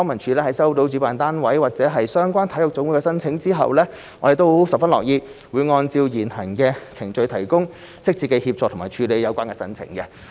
在收到主辦單位及/或相關體育總會的申請後，康文署十分樂意按照現行的程序提供適切的協助和處理有關的申請。